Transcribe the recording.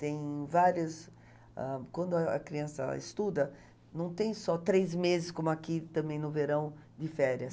tem vários, ãh, quando a criança estuda, não tem só três meses, como aqui também no verão, de férias.